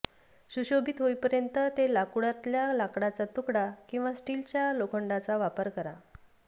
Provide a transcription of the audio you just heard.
सुशोभित होईपर्यंत ते लाकूडतल्या लाकडाचा तुकडा किंवा स्टीलच्या लोखंडाचा वापर करा